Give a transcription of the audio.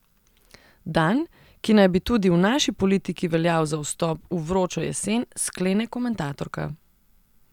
Dan, ki naj bi tudi v naši politiki veljal za vstop v vročo jesen, sklene komentatorka.